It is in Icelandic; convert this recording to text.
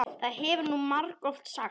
Það hefur þú margoft sagt.